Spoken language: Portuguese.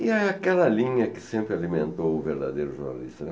E é aquela linha que sempre alimentou o verdadeiro jornalista, né.